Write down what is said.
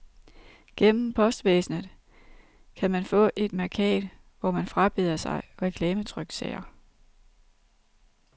Gennem postvæsenet kan man få et mærkat, hvor man frabeder sig reklametryksager.